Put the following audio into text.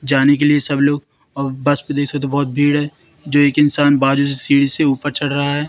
जाने के लिए सब लोग अ बस तो बहोत भीड़ है जो एक इंसान बाजू से सीढ़ी से ऊपर चढ़ रहा है।